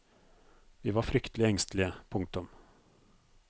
Vi var fryktelig engstelige. punktum